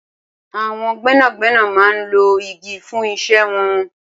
Awọn gbẹnágbẹná má n ló igi fùn iṣẹ̀ wọ̀n